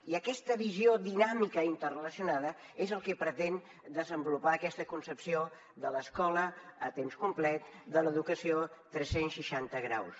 i aquesta visió dinàmica interrelacionada és el que pretén desenvolupar aquesta concepció de l’escola a temps complet de l’educació tres cents i seixanta graus